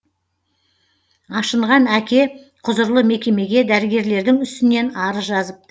ашынған әке құзырлы мекемеге дәрігерлердің үстінен арыз жазыпты